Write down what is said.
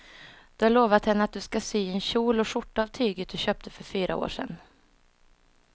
Du har lovat henne att du ska sy en kjol och skjorta av tyget du köpte för fyra år sedan.